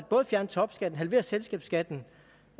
fjerne topskatten halvere selskabsskatten